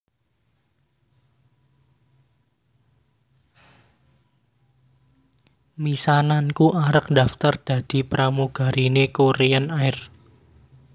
Misananku arep daftar dadi pramugarine Korean Air